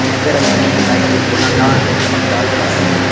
जीस पर रंग बिरंगी लाइटें गोलादार व चमकदार लगी हुई है।